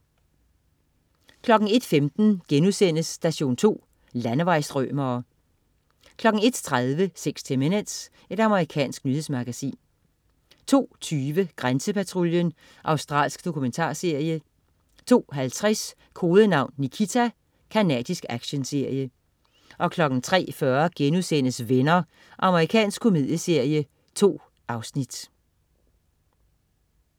01.15 Station 2. Landevejsstrømere* 01.30 60 Minutes. Amerikansk nyhedsmagasin 02.20 Grænsepatruljen. Australsk dokumentarserie 02.50 Kodenavn Nikita. Canadisk actionserie 03.40 Venner.* Amerikansk komedieserie. 2 afsnit